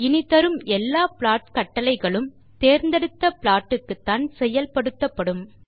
இனி தரும் எல்லா ப்ளாட் கட்டளைகளும் தேர்ந்தெடுத்த ப்ளாட் க்குத்தான் செயல்படுத்தப்படும்